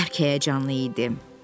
O bərk həyəcanlı idi.